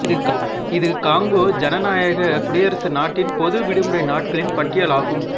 இது காங்கோ ஜனநாயக குடியரசு நாட்டின் பொது விடுமுறை நாட்களின் பட்டியலாகும்